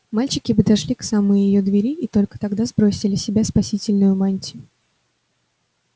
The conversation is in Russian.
мальчики подошли к самой её двери и только тогда сбросили с себя спасительную мантию